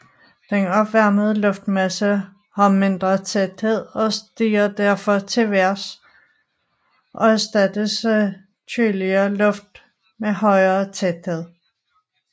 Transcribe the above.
Den opvarmede luftmasse har mindre tæthed og stiger derfor til vejrs og erstattes af køligere luft med højere tæthed